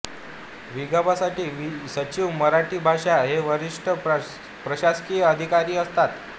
विभागासाठी सचिव मराठी भाषा हे वरिष्ठ प्रशासकीय अधिकारी असतात